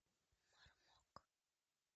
мармок